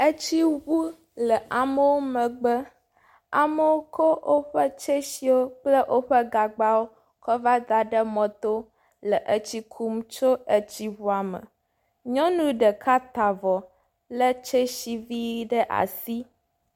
Etsi ŋu le amewo megbe, amewo tsɔ woƒe tsetsiwo kple woƒe gagbawo kɔ va da ɖe mɔto le etsi kum tso etsi ŋua me. Nyɔnu ɖeka ta avɔ lé tsetsi vi aɖe asi.